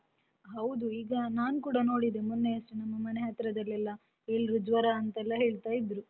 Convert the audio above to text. ಹೌದು, ಈಗ ನಾನ್ ಕೂಡ ನೋಡಿದೆ ಮೊನ್ನೆಯಷ್ಟೇ ಮನೆಹತ್ರದಲ್ಲೆಲ್ಲ ಎಲ್ರು ಜ್ವರ ಅಂತೆಲ್ಲ ಹೇಳ್ತಾ ಇದ್ರು.